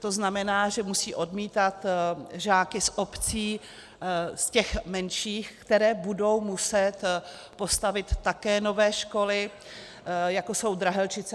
To znamená, že musí odmítat žáky z obcí, z těch menších, které budou muset postavit také nové školy, jako jsou Drahelčice.